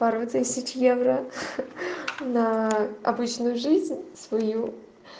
пару тысяч евро ха-ха на обычную жизнь свою